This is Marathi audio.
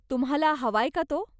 तुम्हाला हवाय का तो?